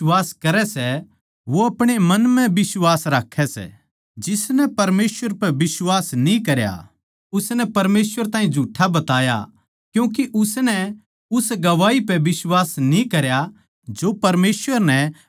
जो परमेसवर कै बेट्टै पै बिश्वास करै सै वो अपणे मन म्ह बिश्वास राक्खै सै जिसनै परमेसवर पै बिश्वास न्ही करया उसनै परमेसवर ताहीं झूठा बताया क्यूँके उसनै उस गवाही पै बिश्वास न्ही करया जो परमेसवर नै अपणे बेट्टै कै बारें म्ह दी सै